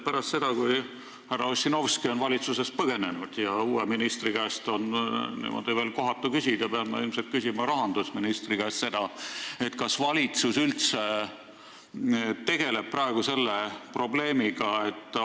Nüüd, kui härra Ossinovski on valitsusest põgenenud ja uue ministri käest on seda veel kohatu küsida, pean ma ilmselt rahandusministri käest küsima, kas valitsus üldse praegu tegeleb selle probleemiga.